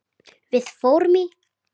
Við fórum í